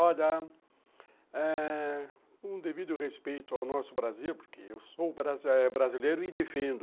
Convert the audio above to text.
Olha, eh.. com um devido respeito ao nosso Brasil, porque eu sou brasileiro e defendo